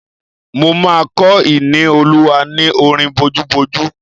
Mo máa kọ́ Ìníolúwa ní orin bojúbojú